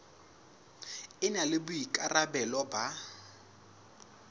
e na le boikarabelo ba